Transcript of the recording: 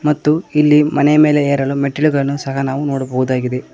ಮತ್ತು ಇಲ್ಲಿ ಮನೆ ಮೇಲೆ ಎರಡು ಮೆಟ್ಟಿಲುಗಳನ್ನು ಸಹ ನಾವು ನೋಡಬಹುದಾಗಿದೆ.